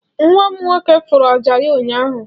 nwam nwoke furu ọjà ya ụnyahụ.